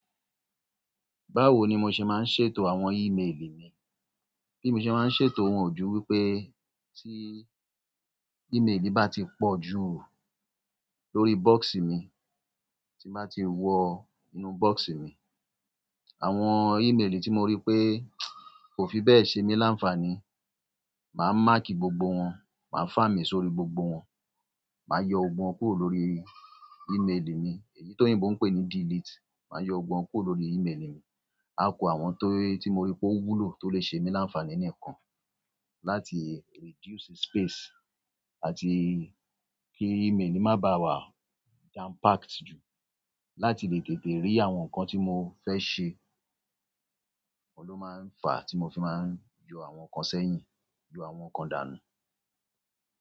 Báwo ni mo ṣe máa ń ṣètò àwọn email mi? Bí mo ṣe máa ń ṣètò wọn o ju wípé tí email mi bá ti pọ̀ ju lórí box mi, tí bá ti wọ inú box mi, àwọn email tí mo rí pé kò fi bẹ́ẹ̀ ṣe mí láǹfàní, màá mark gbogbo wọn, màá fáàmi sórí gbogbo wọn, màá yọ gbogbo won kúrò lórí email mi, èyí tóyìnbò ń pè ní delete. Màá yọ gbogbo won kúrò lórí email mi. A ku àwọn tó, tí mo rí pé ó wúlò, tó lè ṣe mí láǹfàní nìkan láti reduce space àti kí email mi má ba à wà jam packed jù, láti lè tètè rí àwọn nǹkan tí mo fẹ́ ṣe. Óun ló máa ń fà tí mo fi máa ń yọ àwọn kan sẹ́yìn, yọ àwọn kan dànù.